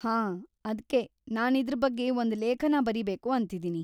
ಹಾಂ, ಅದ್ಕೇ ನಾನಿದ್ರ್ ಬಗ್ಗೆ ಒಂದ್ ಲೇಖನ ಬರೀಬೇಕು ಅಂತಿದೀನಿ.